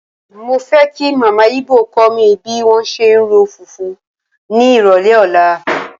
Mo fẹ́ kí Màmá Ibò kó mi bí wọ́n ṣe ń ro fùfú ní ìrọ̀lẹ́ ọ̀la.